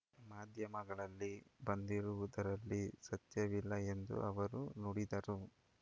ಮಾಧ್ಯಮಗಳಲ್ಲಿ ಬಂದಿರುವುದರಲ್ಲಿ ಸತ್ಯವಿಲ್ಲ ಎಂದು ಅವರು ನುಡಿದರು